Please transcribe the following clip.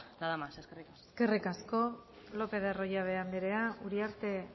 nada más eskerrik asko eskerrik asko lopez de arroyabe anderea uriarte